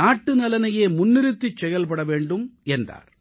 நாட்டுநலனையே முன்னிறுத்திச் செயல்பட வேண்டும் என்றார்